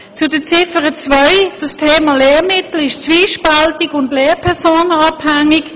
Zu Ziffer 2: Das Thema Lehrmittel ist zwiespältig und lehrpersonenabhängig.